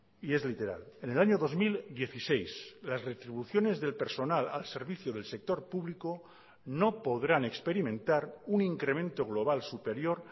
y es literal en el año dos mil dieciséis las retribuciones del personal al servicio del sector público no podrán experimentar un incremento global superior